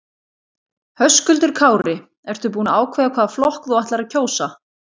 Höskuldur Kári: Ertu búin að ákveða hvaða flokk þú ætlar að kjósa?